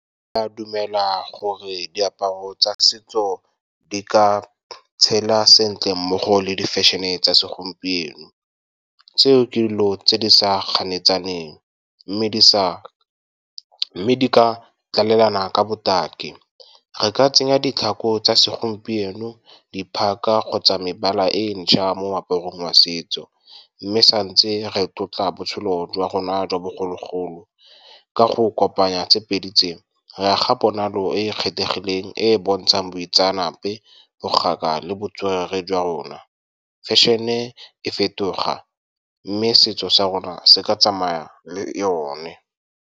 Ke a dumela gore diaparo tsa setso di ka tshela sentle mmogo le di-fashion-e tsa segompieno. Seo ke dilo tse di sa ganetsaneng , mme di ka tlalelana ka botaki. Re ka tsenya ditlhako tsa segompieno, di phaka kgotsa mebala e ntšha mo moaparong wa setso, mme santse re tlotla botshelo jwa rona jwa bogologolo ka go kopanya tse pedi tse, re aga ponalo e e kgethegileng e e bontshang boitseanape, bogaka le botswerere jwa rona. Fashion-e e fetoga, mme setso sa rona se ka tsamaya le yone.